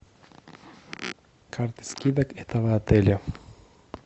карта скидок этого отеля